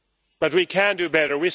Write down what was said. But we can do better.